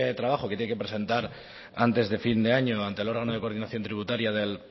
trabajo que tiene que presentar antes de fin de año ante el órgano de coordinación tributaria del